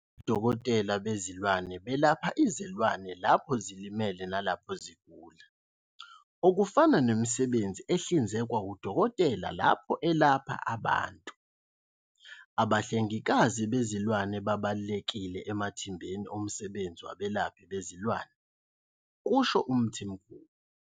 Odokotela bezilwane belapha izilwane lapho zilimele nalapho zigula, okufana nemisebenzi ehlinzekwa wudokotela lapho elapha abantu. Abahle ngikazi bezilwane babalulekile emathimbeni omsebenzi wabelaphi bezilwane, kusho uMthimkhulu.